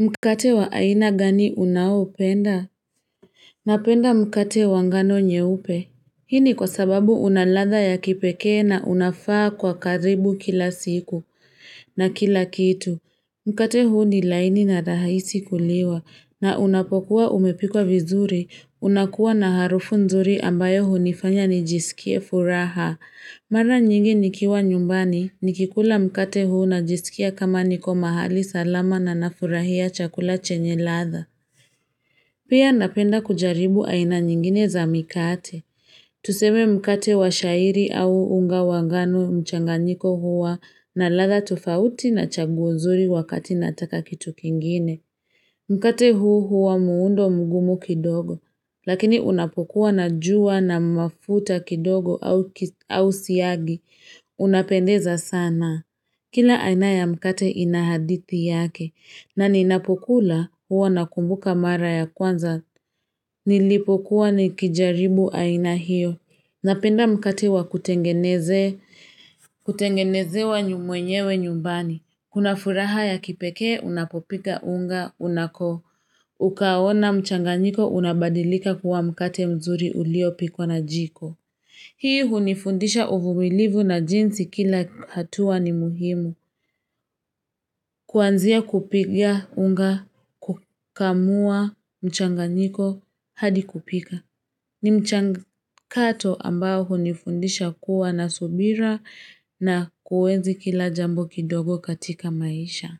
Mkate wa aina gani unaopenda? Napenda mkate wangano nyeupe. Hii ni kwa sababu unaladha ya kipekee na unafaa kwa karibu kila siku. Na kila kitu. Mkate huu ni laini na rahisi kuliwa. Na unapokuwa umepikwa vizuri. Unakuwa na harufu nzuri ambayo hunifanya nijisikie furaha. Mara nyingi nikiwa nyumbani, nikikula mkate huu najisikia kama niko mahali salama na nafurahia chakula chenye ladha. Pia napenda kujaribu aina nyingine za mikate. Tuseme mkate wa shairi au unga wangano mchanganyiko huwa na ladha tofauti na chaguo nzuri wakati nataka kitu kingine. Mkate huu huwa muundo mugumu kidogo, lakini unapokuwa na jua na mafuta kidogo au siagi. Unapendeza sana. Kila ainaya mkate inahadithi yake, na ninapokula huwa nakumbuka mara ya kwanza. Nilipokuwa ni kijaribu ainahiyo. Napenda mkate wa kutengenezewa mwenyewe nyumbani una furaha ya kipekee unapopika unga unako ukaona mchanganyiko unabadilika kuwa mkate mzuri unaopikwa na jiko hii hunifundisha uvumilivu na jinsi kila hatua ni muhimu kuanzia kupiga unga kukamua mchanganyiko hadi kupika ni mchakato ambao hunifundisha kuwa na subira na kuenzi kila jambo kidogo katika maisha